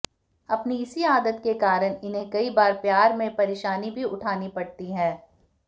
अपनी इसी आदत के कारण इन्हें कई बार प्यार में परेशानी भी उठानी पड़ती हैं